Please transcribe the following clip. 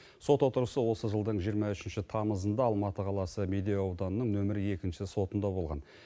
сот отырысы осы жылдың жиырма үшінші тамызында алматы қаласын медеу ауданының нөмірі екінші сотында болған